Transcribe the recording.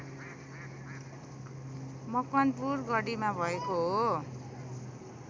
मकवानपुर गढीमा भएको हो